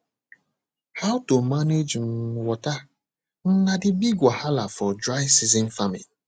how to manage um water um na the big wahala for dry season farming